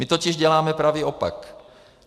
My totiž děláme pravý opak.